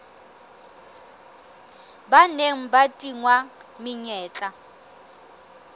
ba neng ba tingwa menyetla